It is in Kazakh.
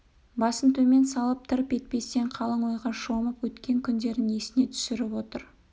басын төмен салып тырп етпестен қалың ойға шомып өткен күндерін есіне түсіріп отыр